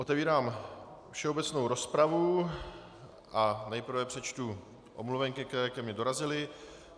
Otevírám všeobecnou rozpravu a nejprve přečtu omluvenky, které ke mně dorazily.